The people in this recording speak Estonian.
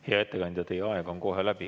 Hea ettekandja, teie aeg on kohe läbi.